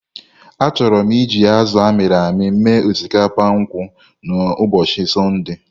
Achọrọ m iji azụ amiri-ami mee osikapa nkwụ n'ụbọchị Sọnde.